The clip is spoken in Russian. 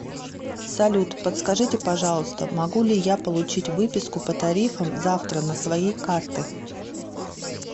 салют подскажите пожалуйста могу ли я получить выписку по тарифам завтра на своей карты